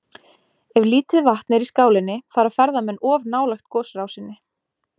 Ef lítið vatn er í skálinni fara ferðamenn of nálægt gosrásinni.